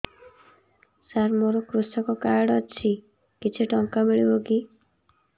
ସାର ମୋର୍ କୃଷକ କାର୍ଡ ଅଛି କିଛି ଟଙ୍କା ମିଳିବ କି